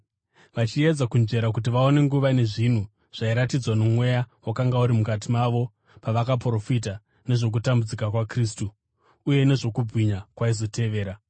vachiedza kunzvera kuti vaone nguva nezvinhu zvairatidzwa noMweya wakanga uri mukati mavo pawakaprofita nezvokutambudzika kwaKristu, uye nezvokubwinya kwaizotevera.